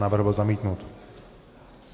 Návrh byl zamítnut.